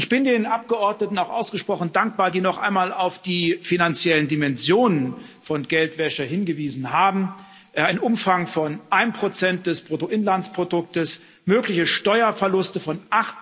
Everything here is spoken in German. Ich bin den Abgeordneten auch ausgesprochen dankbar, die noch einmal auf die finanziellen Dimensionen von Geldwäsche hingewiesen haben ein Umfang von 1 des Bruttoinlandsprodukts, mögliche Steuerverluste von